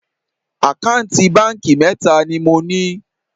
Àkáǹtì báńkì mẹ́ta ni mo ní